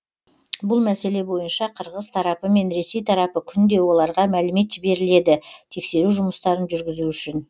бұл мәселе бойынша қырғыз тарапы мен ресей тарапы күнде оларға мәлімет жіберіледі тексеру жұмыстарын жүргізу үшін